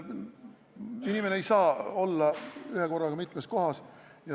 Inimene ei saa olla ühekorraga mitmes kohas.